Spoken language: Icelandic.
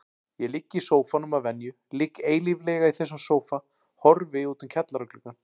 Ég ligg í sófanum að venju, ligg eilíflega í þessum sófa, horfi út um kjallaragluggann.